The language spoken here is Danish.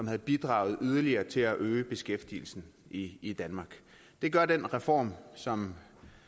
have bidraget yderligere til at øge beskæftigelsen i i danmark det gør den reform som